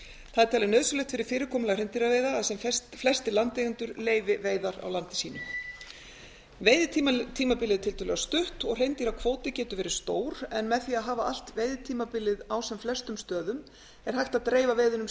það er talið nauðsynlegt fyrir fyrirkomulag hreindýraveiða að sem flestir landeigendur leyfi veiðar á landi sínu veiðitímabilið er tiltölulega stutt og hreindýrakvóti getur verið stór en með því að hafa allt veiðitímabilið á sem flestum stöðum er hægt að dreifa veiðunum